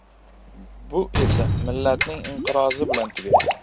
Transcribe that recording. Bu esa millatning inqirozi bilan tugaydi.